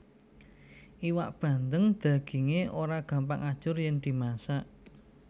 Iwak bandeng dagingé ora gampang ajur yèn dimasak